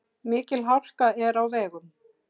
Mikil hálka er á vegum.